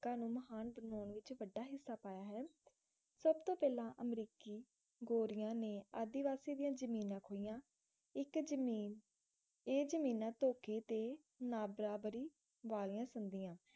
ਨੂੰ ਮਹਾਨ ਬਣਾਉਣ ਵਿਚ ਵੱਡਾ ਹਿੱਸਾ ਪਾਇਆ ਹੈ ਸਬਤੋਂ ਪਹਿਲਾਂ ਅਮਰੀਕੀ ਗੋਰਿਆਂ ਨੇ ਆਦਿਵਾਸੀ ਦੀਆਂ ਜ਼ਮੀਨਾਂ ਖੋਹੀਆਂ ਇਕ ਜਮੀਨ ਇਹ ਜ਼ਮੀਨਾਂ ਧੋਖੇ ਤੇ ਨਾਬਰਾਬਰੀ ਵਾਲੀਆਂ ਸੰਧੀਆਂ